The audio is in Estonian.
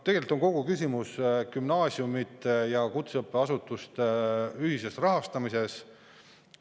Tegelikult on kogu küsimus gümnaasiumide ja kutseõppeasutuste ühises rahastamises.